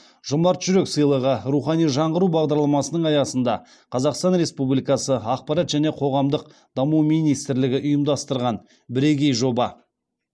жомарт жүрек сыйлығы рухани жаңғыру бағдарламасының аясында қазақстан республикасы ақпарат және қоғамдық даму министрлігі ұйымдастырған бірегей жоба